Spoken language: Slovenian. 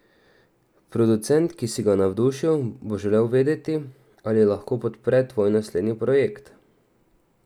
Producent, ki si ga navdušil, bo želel vedeti, ali lahko podpre tvoj naslednji projekt.